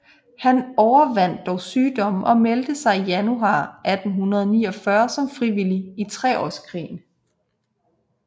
Han overvandt dog sygdommen og meldte sig i januar 1849 som frivillig i Treårskrigen